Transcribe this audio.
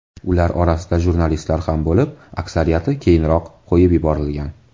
Ular orasida jurnalistlar ham bo‘lib, aksariyati keyinroq qo‘yib yuborilgan.